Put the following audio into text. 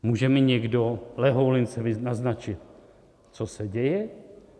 Může mi někdo lehoulince naznačit, co se děje?